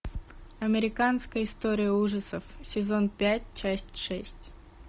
американская история ужасов сезон пять часть шесть